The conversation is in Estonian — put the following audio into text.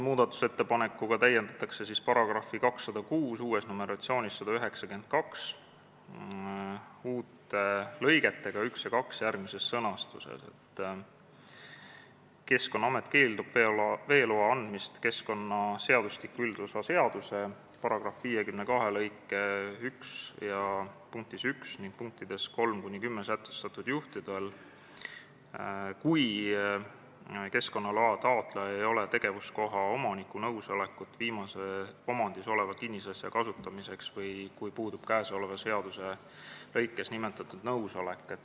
Muudatusettepanekuga täiendatakse § 206 uute lõigetega 1 ja 2 järgmises sõnastuses: "Keskkonnaamet keeldub veeloa andmisest keskkonnaseadustiku üldosa seaduse § 52 lõike 1 punktis 1 ning punktides 3–10 sätestatud juhtudel või kui keskkonnaloa taotlejal ei ole tegevuskoha omaniku nõusolekut viimase omandis oleva kinnisasja kasutamiseks või kui puudub käesoleva seaduse .. lõikes nimetatud nõusolek.